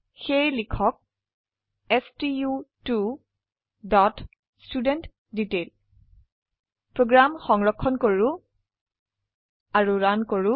সেয়েলিখক stu2ষ্টুডেণ্টডিটেইল প্ৰোগ্ৰাম সংৰক্ষণ কৰো ৰান কৰক